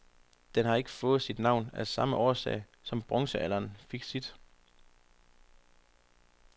Den har ikke fået sit navn af samme årsag, som bronzealderen fik sit.